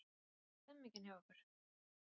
Hvernig er stemmingin hjá ykkur?